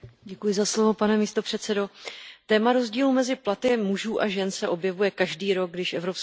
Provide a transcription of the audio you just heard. Téma rozdílu mezi platy mužů a žen se objevuje každý rok, když Evropská komise zveřejní tyto statistiky.